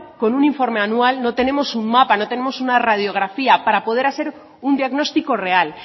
con un informe anual no tenemos un mapa no tenemos una radiografía para poder hacer un diagnóstico real